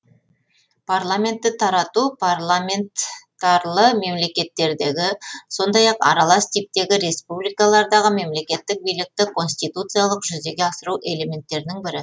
парламентті тарату парламентарлы мемлекеттердегі сондай ақ аралас типтегі республикалардағы мемлекеттік билікті конституциялық жүзеге асыру әлементтерінің бірі